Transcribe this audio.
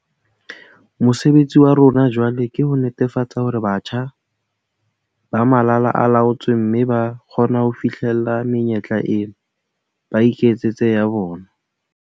Mosebetsi wa rona jwale ke ho netefatsa hore batjha ba malala a laotswe mme ba kgona ho fihlella menyetla ena, ba iketsetse ya bona.